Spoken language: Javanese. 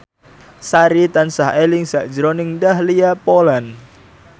Sari tansah eling sakjroning Dahlia Poland